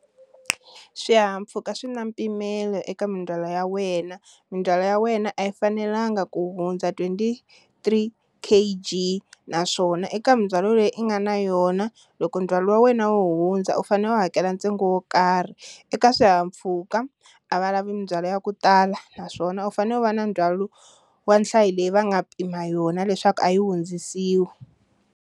Swihahampfhuka swi na mpimelo eka mindzwalo ya wena, mindzwalo ya wena a yi fanelanga ku hundza twenty-three K_G naswona eka mindzwalo leyi i nga na yona loko ndzhwalo wa wena wo hundza u fanele u hakela ntsengo wo karhi, eka swihahampfhuka a va lavi mindzwalo ya ku tala naswona u fanele u va na ndzhwalo wa nhlayo leyi va nga pima yona leswaku a yi hundzisiwi.